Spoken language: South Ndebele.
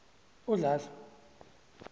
udladla